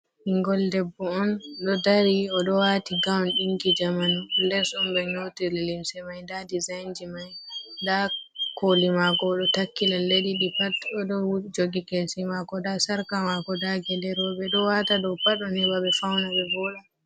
Ɓingel debbo on ɗo dari o do wati gaun dingi jamanu les humbe nyotiri limse mai da dezainji mai da koli mako odo takkila leddidi pat odo jogi kesi mako da sharka mako dage lerobe do wata dow pat don hebabe fauna be vola.